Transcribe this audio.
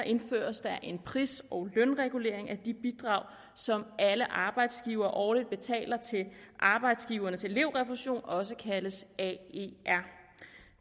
indføres der en pris og lønregulering af de bidrag som alle arbejdsgivere årligt betaler til arbejdsgivernes elevrefusion også kaldet aer